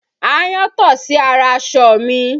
Aáyán tọ̀ sí ara aṣọ mi